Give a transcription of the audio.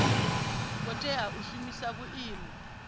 ngo tea u shumisa vhuimo